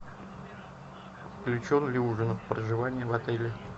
включен ли ужин в проживание в отеле